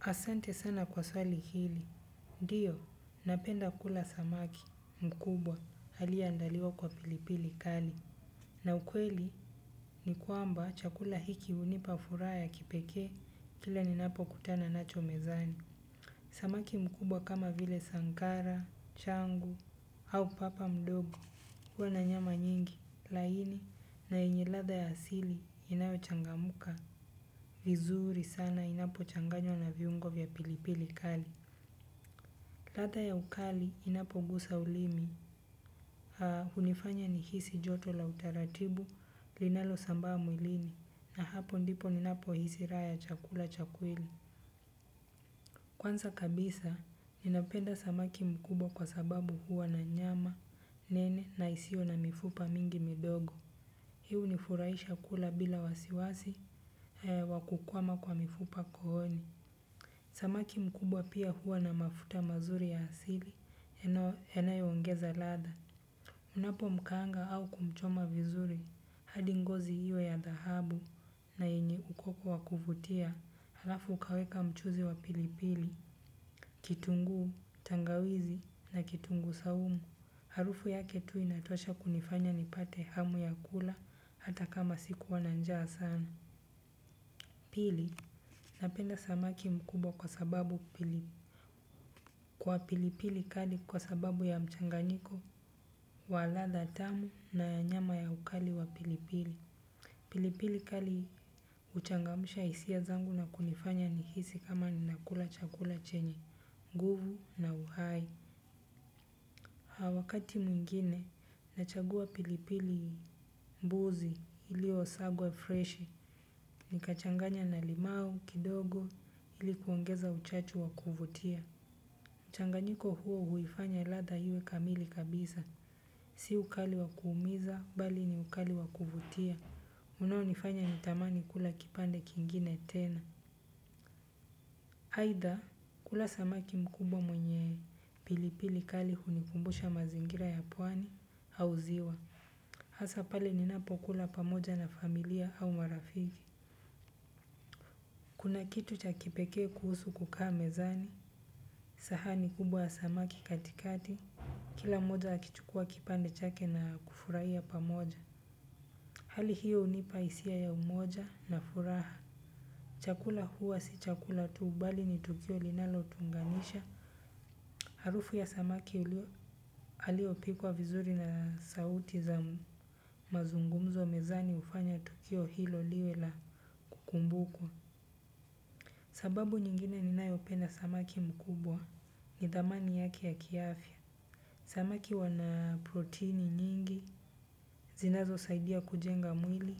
Asante sana kwa swali hili. Ndiyo, napenda kula samaki mkubwa aliyeandaliwa kwa pilipili kali. Na ukweli ni kwamba chakula hiki hunipa furaha ya kipekee kila ninapokutana nacho mezani. Samaki mkubwa kama vile sankara, changu au papa mdogo. Huwa na nyama nyingi, laini na yenye ladha ya asili inayochangamka, vizuri sana inapo changanywa na viungo vya pilipili kali. Ladha ya ukali inapogusa ulimi, hunifanya nihisi joto la utaratibu, linalosambaa mwilini, na hapo ndipo ninapohisi raha ya chakula cha kweli. Kwanza kabisa, ninapenda samaki mkubwa kwa sababu huwa na nyama, nene na isiyo na mifupa mingi midogo. Hii hunifurahisha kula bila wasiwasi, wa kukwama kwa mifupa kooni. Samaki mkubwa pia huwa na mafuta mazuri ya asili, yanayoongeza ladha. Unapomkaanga au kumchoma vizuri, hadi ngozi hiyo ya dhahabu na yenye ukoko wa kuvutia, alafu ukaweka mchuzi wa pilipili. Kitunguu, tangawizi na kitunguu saumu. Harufu yake tu inatosha kunifanya nipate hamu ya kula hata kama sikuwa na njaa sana. Pili, napenda samaki mkubwa kwa sababu pilipili kali kwa sababu ya mchanganiko, wa ladha tamu na nyama ya ukali wa pilipili. Pilipili kali huchangamsha hisia zangu na kunifanya nihisi kama ninakula chakula chenye, nguvu na uhai. Ha wakati mwingine, nachagua pilipili mbuzi iliyosagwa freshi. Nikachanganya na limau, kidogo, ili kuongeza uchachu wa kuvutia. Mchanganyiko huo huifanya ladha iwe kamili kabisa. Si ukali wa kuumiza, bali ni ukali wa kuvutia. Unaonifanya nitamani kula kipande kingine tena. Aidha, kula samaki mkubwa mwenye pilipili kali hunikumbusha mazingira ya pwani au ziwa. Au ziwa. Hasa pale ninapokula pamoja na familia au marafiki. Kuna kitu cha kipekee kuhusu kukaa mezani. Sahani kubwa ya samaki katikati. Kila moja akichukua kipande chake na kufurahia pamoja. Hali hiyo hunipa hisia ya umoja na furaha. Chakula huwa si chakula tu bali ni tukio linalotunganisha. Harufu ya samaki aliyepikwa vizuri na sauti za mazungumzo mezani hufanya tukio hilo liwe la kumbuku. Sababu nyingine ninayopenda samaki mkubwa ni dhamani yake ya kiafya. Samaki wana proteini nyingi zinazo saidia kujenga mwili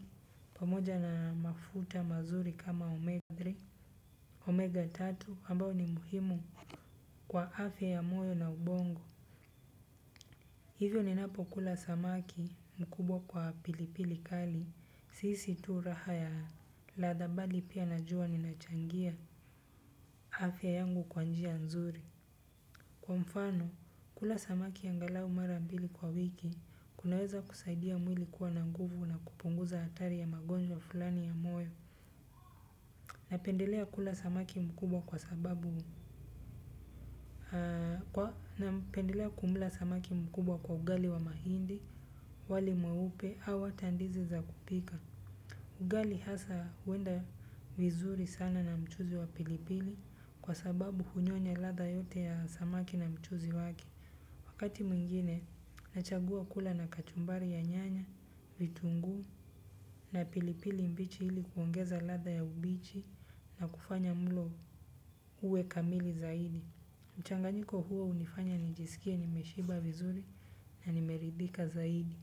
pamoja na mafuta mazuri kama omega tatu Omega tatu ambao ni muhimu kwa afya ya moyo na ubongo. Hivyo ninapokula samaki mkubwa kwa pilipili kali sihisi tu raha ya ladha bali pia najua ninachangia afya yangu kwa njia nzuri. Kwa mfano, kula samaki angalau mara mbili kwa wiki, kunaweza kusaidia mwili kuwa na nguvu na kupunguza hatari ya magonjwa fulani ya moyo. Napendelea kumla samaki mkubwa kwa ugali wa mahindi, wali mweupe, au hata ndizi za kupika. Ugali hasa huenda vizuri sana na mchuuzi wa pilipili kwa sababu hunyonya ladha yote ya samaki na mchuzi wake. Wakati mwingine, nachagua kula na kachumbari ya nyanya, vitunguu na pilipili mbichi ili kuongeza ladha ya ubichi na kufanya mlo uwe kamili zaidi. Mchanganyiko huo hunifanya nijisikie nimeshiba vizuri na nimeridhika zaidi.